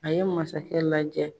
A ye masakɛ lajɛ.